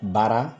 Baara